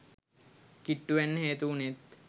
කිට්ටු වෙන්න හේතු උනෙත්